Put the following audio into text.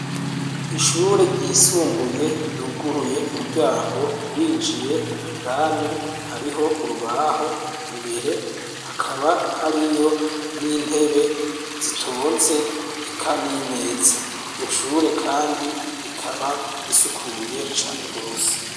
Ishure ryisumbuye ry’uguruye umuryango winjiye indani hariho urubaho imbere hakaba hariyo n’intebe zitonze eka n'imeza, iryo shure kandi rikaba risukuye cane gose.